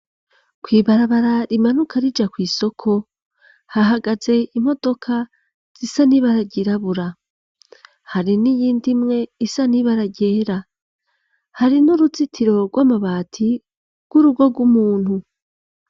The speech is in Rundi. Kw'ibarabara rimanuka rija kw'isoko hahagaze imodoka zisa n'ibara ryirabura hari n'iyindimwe isa n'ibara ryera hari n'uruzitiro rw'amabati rw'urugo rw'umuntu.